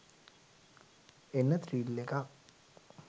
එන ත්‍රිල් එකක්.